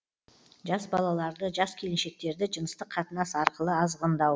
жас балаларды жас келіншектерді жыныстық қатынас арқылы азғындау